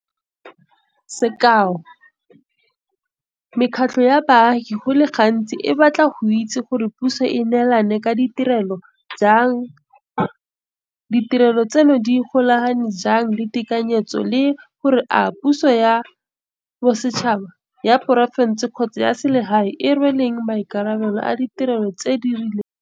Sekao, mekgatlho ya baagi go le gantsi e batla go itse gore puso e neelana ka ditirelo jang, ditirelo tseno di golagane jang le tekanyetso le gore a ke puso ya bosetšhaba, ya porofense kgotsa ya selegae e e rweleng maikarabelo a ditirelo tse di rileng.